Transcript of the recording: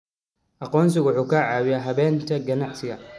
Aqoonsigu waxa uu caawiyaa habaynta ganacsiga.